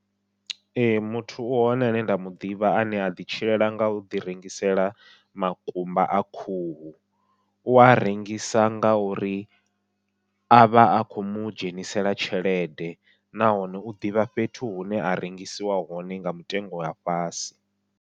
Ee muthu u hone ane nda muḓivha ane a ḓi tshilela ngau ḓi rengisela makumba a khuhu, ua rengisa ngauri avha a khomu dzhenisela tshelede nahone u ḓivha fhethu hune ha rengisiwa hone nga mutengo wa fhasi.